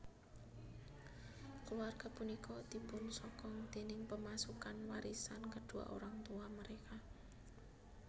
Keluarga punika dipunsokong déning pemasukan warisan kedua orang tua mereka